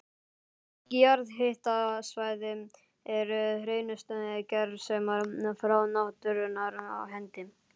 Mörg jarðhitasvæði eru hreinustu gersemar frá náttúrunnar hendi.